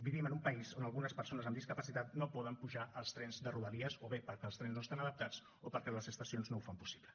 vivim en un país on algunes persones amb discapacitat no poden pujar als trens de rodalies o bé perquè els trens no estan adaptats o perquè les estacions no ho fan possible